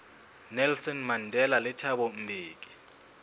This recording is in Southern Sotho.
nelson mandela le thabo mbeki